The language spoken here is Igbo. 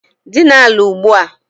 Dina ala ugbua!